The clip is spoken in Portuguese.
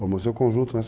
Formou o seu conjunto, né?